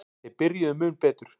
Þeir byrjuðu mun betur.